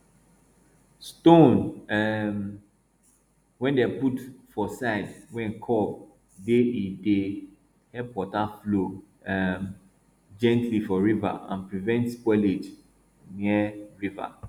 stone um wey dem put for side wey curve dey e dey help water flow um gently for river and prevent spoilage near river